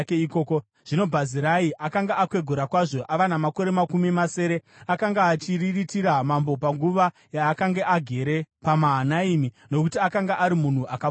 Zvino Bhazirai akanga akwegura kwazvo, ava namakore makumi masere. Akanga achiriritira mambo panguva yaakanga agere paMahanaimi, nokuti akanga ari munhu akapfuma kwazvo.